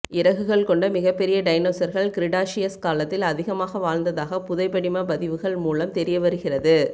இறகுகள் கொண்ட மிகப்பெரிய டைனோசர்கள் க்ரிடாஷியஸ் காலத்தில் அதிகமாக வாழ்ந்ததாக புதைபடிம பதிவுகள் மூலம் தெரிய வருகிறது